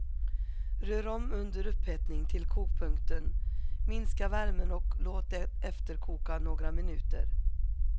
Rör om under upphettning till kokpunkten, minska värmen och låt det efterkoka några minuter.